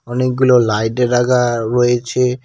অনেকগুলো লাইডে রাগা রয়েছে।